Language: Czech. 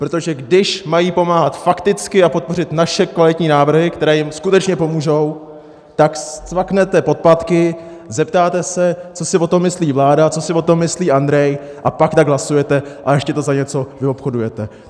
Protože když mají pomáhat fakticky a podpořit naše kvalitní návrhy, které jim skutečně pomůžou, tak scvaknete podpatky, zeptáte se, co si o tom myslí vláda, co si o tom myslí Andrej, a pak tak hlasujete, a ještě to za něco vyobchodujete!